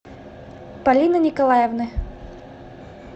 полины николаевны